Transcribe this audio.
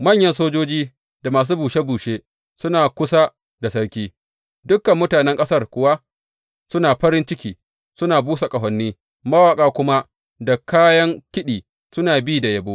Manyan sojoji da masu bushe bushe suna kusa da sarki, dukan mutanen ƙasar kuwa suna farin ciki suna busa ƙahoni, mawaƙa kuma da kayan kiɗi suna bi da yabo.